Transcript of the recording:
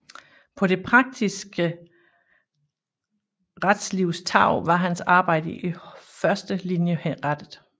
På det praktiske retslivs tarv var hans arbejde i første linje rettet